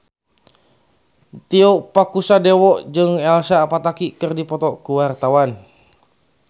Tio Pakusadewo jeung Elsa Pataky keur dipoto ku wartawan